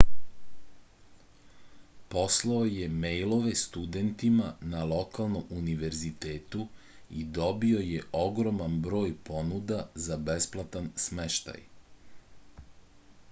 poslao je mejlove studentima na lokalnom univezitetu i dobio je ogroman broj ponuda za besplatan smeštaj